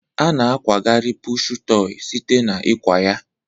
A na akwagharị pụshụ tọị site na ịkwa ya.